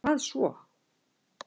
Hvað svo.